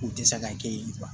U tɛ se ka kɛ yen kuwa